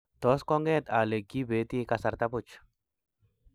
tos konget ale kibeeti kasarta buch